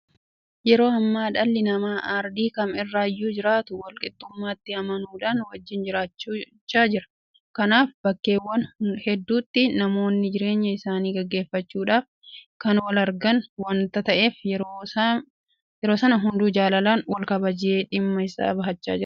Yeroo ammaa dhalli namaa aardii kam irrayyuu jiraatu walqixxummaatti amanuudhaan wajjin jiraachaa jira. Kanaaf bakkeewwan hedduutti namoonni jireenya isaanii gaggeeffachuudhaaf kan walargan waanta ta'eef yeroo sana hunduu jaalalaan walkabajee dhimma isaa bahachaa jira.